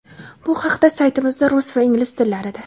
Bu haqda saytimizda rus va ingliz tillarida:.